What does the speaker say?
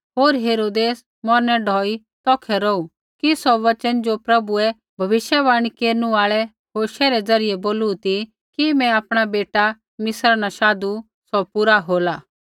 होर हेरोदेस मौरनै ढौई तौखै रौहू कि सौ वचन ज़ो प्रभुऐ भविष्यवाणी केरनु आल़ै होशे द्वारा बोलू ती कि मैं आपणा बेटा मिस्रा न शाधु सौ पूरा होला